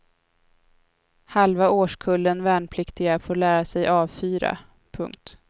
Halva årskullen värnpliktiga får lära sig avfyra. punkt